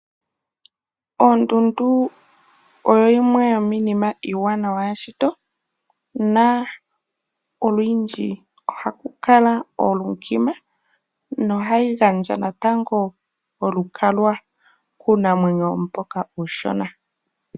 Onduundu oyo yimwe yomiinima iiwanawa yomeshito na olundji ohaku kala oondjima nohayi gandja natango olukalwa kuunamwenyo mboka uushona.